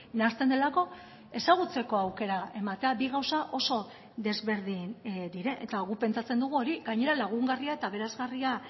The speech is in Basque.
nahasten delako ezagutzeko aukera ematea bi gauza oso desberdin dira eta guk pentsatzen dugu hori gainera lagungarria eta aberasgarria